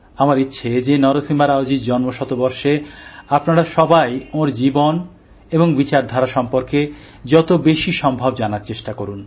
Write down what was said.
আমার ইচ্ছে যে নরসিমা রাওজীর জন্মশতবর্ষে আপনারা সবাই ওঁর জীবন এবং বিচার ধারা সম্বন্ধে যত বেশি সম্ভব জানার চেষ্টা করুন